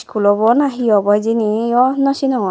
school obo na he obo hijeni o naw sinongor.